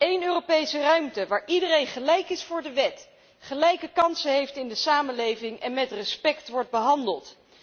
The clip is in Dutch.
Eén Europese ruimte, waar iedereen gelijk is voor de wet, gelijke kansen heeft in de samenleving en met respect wordt behandeld.